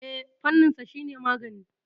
Eh, fanninsa shine magani.